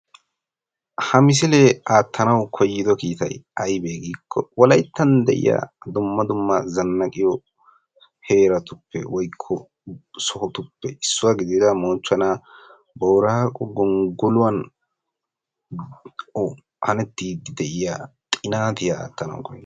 Ha misile aattanawu koyyido kiitay aybe giikko wolayttan de'iya dumma dumma zannaqiyo heerattuppe woykko sohotuppe issuwa gidida moochchonaa Booraago gongoluwan hanettidi de'iya xinaatiya aattanawu koyis.